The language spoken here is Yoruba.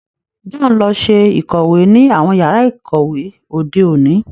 John lọ ṣe ikọwe ni awọn yàrà ikọwe òde òní